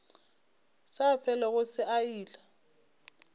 sa felego se a ila